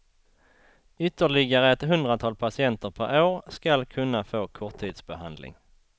Ytterligare ett hundratal patienter per år skall kunna få korttidsbehandling.